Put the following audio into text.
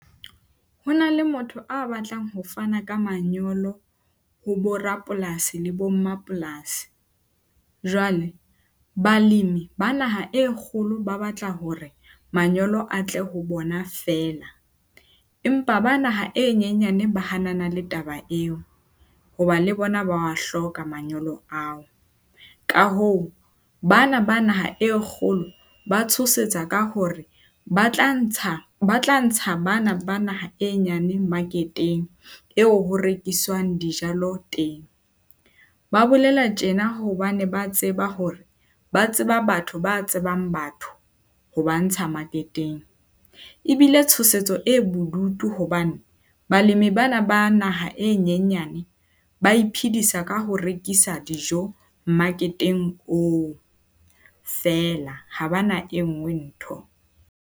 Ho na le motho a batlang ho fana ka manyolo, ho bo rapolasi le bo mapolasi. Jwale, balemi ba naha e kgolo ba batla hore manyolo a tle ho bona fela, empa ba naha e nyenyane ba hanana le taba eo hoba le bona ba a hloka manyolo ao. Ka hoo bana ba naha e kgolo ba tshosetsa ka hore ba tla ntsha bana ba naha e nyane market-eng eo ho rekiswang dijalo teng. Ba bolela tjena hobane ba tseba hore ba tseba batho ba tsebang batho ho ba ntsha market-eng. Ebile tshosetsa e bodutu hobane balemi bana ba naha e nyenyane ba iphedisa ka ho rekisa dijo market-eng oo feela. Ha ba na e nngwe ntho.